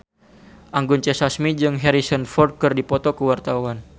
Anggun C. Sasmi jeung Harrison Ford keur dipoto ku wartawan